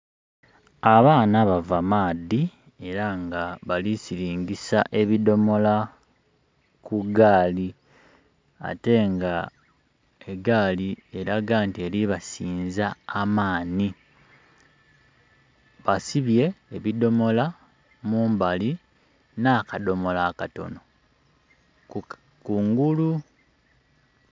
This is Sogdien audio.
Abaana bava maadhi era nga balisilingisa ebidomola ku gaali ate nga egaali eraga nti eri basinza amaani. Basibye ebidomola mumbali n'akadomola akatono kungulu.